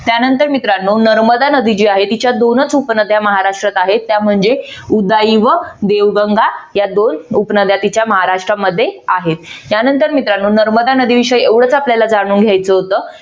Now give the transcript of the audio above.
त्यानंतर मित्रानो नर्मदा नदी जी आहे तिच्या दोनच उपनद्या महाराष्ट्रात आहेत त्या म्हणजे उदाई व देवगंगा या दोन उपनद्या तिच्या महाराष्ट्रामध्ये आहेत त्यानंतर मित्रानो नर्मदा नदी विषयी एवढच आपल्याला जाणून घ्यायचं होत